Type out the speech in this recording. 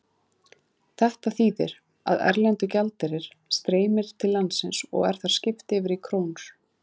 Þetta þýðir að erlendur gjaldeyrir streymir til landsins og er þar skipt yfir í krónur.